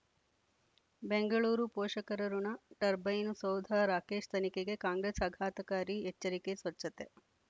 ಬೆಂಗಳೂರು ಪೋಷಕರಋಣ ಟರ್ಬೈನು ಸೌಧ ರಾಕೇಶ್ ತನಿಖೆಗೆ ಕಾಂಗ್ರೆಸ್ ಆಘಾತಕಾರಿ ಎಚ್ಚರಿಕೆ ಸ್ವಚ್ಛತೆ